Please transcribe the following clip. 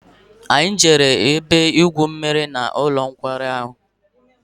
Anyị gara ebe-igwu mmiri n'ụlọ nkwari ahụ.